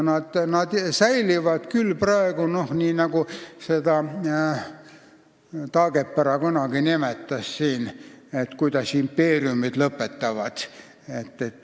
Taagepera kunagi rääkis sellest, kuidas impeeriumid lõpetavad.